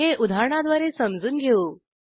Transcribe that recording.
हे उदाहरणाद्वारे समजून घेऊ